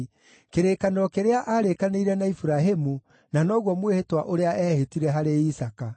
kĩrĩkanĩro kĩrĩa aarĩkanĩire na Iburahĩmu, na noguo mwĩhĩtwa ũrĩa eehĩtire harĩ Isaaka.